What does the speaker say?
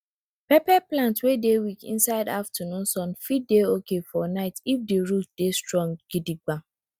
pepper plant wey dey weak inside aftanoon sun fit dey oki for night if di root dey strong gidigba